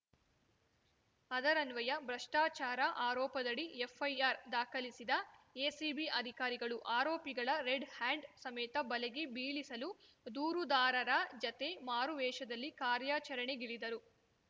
ಅದರನ್ವಯ ಭ್ರಷ್ಟಾಚಾರ ಆರೋಪದಡಿ ಎಫ್‌ಐಆರ್‌ ದಾಖಲಿಸಿದ ಎಸಿಬಿ ಅಧಿಕಾರಿಗಳು ಆರೋಪಿಗಳ ರೆಡ್‌ಹ್ಯಾಂಡ್‌ ಸಮೇತ ಬಲೆಗೆ ಬೀಳಿಸಲು ದೂರುದಾರರ ಜತೆ ಮಾರುವೇಷದಲ್ಲಿ ಕಾರ್ಯಾಚರಣೆಗಿಳಿದರು